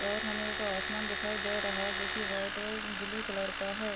और हमे ऊपर आसमान दिखाई दे रहा है जोकि वाईट और ब्लू कलर का है।